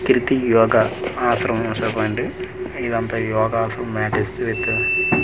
Kriti yoga ఆశ్రమం చెప్పండి ఇదంతా యోగా ఫ్రం మ్యాటెస్ట్ విత్ --